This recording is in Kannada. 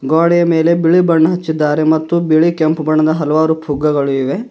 ಗ್ವಡೇ ಮೇಲೆ ಬಿಳಿ ಬಣ್ಣ ಹಚ್ಚಿದ್ದಾರೆ ಮತ್ತು ಬಿಳಿ ಕೆಂಪು ಬಣ್ಣದ ಹಲವಾರು ಪುಗ್ಗಗಳಿವೆ.